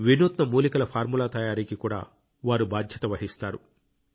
వినూత్న మూలికల ఫార్ములా తయారీకి కూడా వారు బాధ్యత వహిస్తారు